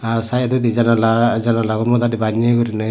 aa sidodi janala janala gun goda di banne gurinei.